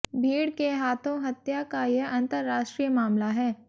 भीड़ के हाथों हत्या का यह अंतर्राष्ट्रीय मामला है